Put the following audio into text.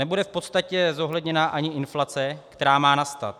Nebude v podstatě zohledněna ani inflace, která má nastat.